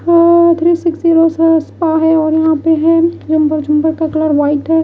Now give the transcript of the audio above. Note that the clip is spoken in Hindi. अ थ्री सिक्सटी यहां पे है झुम्बर का कलर व्हाइट है।